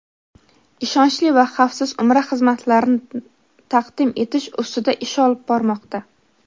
ishonchli va xavfsiz Umra xizmatlarini taqdim etish ustida ish olib bormoqda.